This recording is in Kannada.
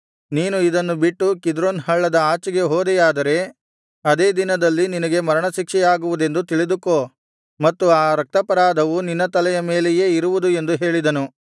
ನೀನು ಇದನ್ನು ಬಿಟ್ಟು ಕಿದ್ರೋನ್ ಹಳ್ಳದ ಆಚೆಗೆ ಹೋದೆಯಾದರೆ ಅದೇ ದಿನದಲ್ಲಿ ನಿನಗೆ ಮರಣಶಿಕ್ಷೆಯಾಗುವುದೆಂದು ತಿಳಿದುಕೋ ಮತ್ತು ಆ ರಕ್ತಾಪರಾಧವು ನಿನ್ನ ತಲೆಯ ಮೇಲೆಯೇ ಇರುವುದು ಎಂದು ಹೇಳಿದನು